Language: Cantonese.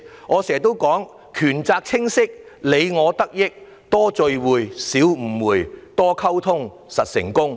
我經常也說："權責清晰，你我得益；多聚會，少誤會；多溝通，實成功"。